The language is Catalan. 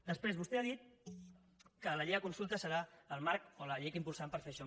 després vostè ha dit que la llei de consultes serà el marc o la llei que impulsaran per fer això